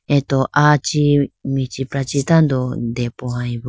ato aa chee michiprachi tando depohyeboo.